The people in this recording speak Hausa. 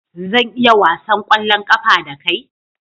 Zan iya wasan ƙwallon ƙafa da kai?